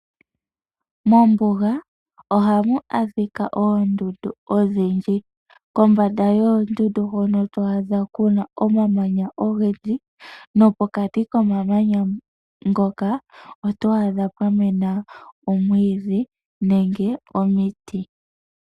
Mombuga ohamu adhika oondundu odhindji kombanda yoondundu ohatu adha kuna omamanya ogendji nopokati komamanya ngoka oto adha pwamena omwiidhi nenge omiti.